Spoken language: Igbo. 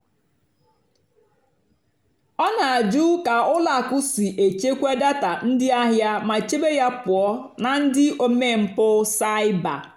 ọ́ nà-àjụ́ kà ùlọ àkụ́ sí èchékwá dátà ndí àhìá mà chèbé yá pụ́ọ́ nà ndí ómémpụ́ cybér.